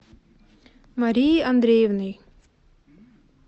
марией андреевной